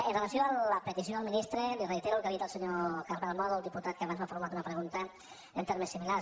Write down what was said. amb relació a la petició al ministre li reitero el que li he dit al senyor carmel mòdol al diputat que abans m’ha formulat una pregunta en termes similars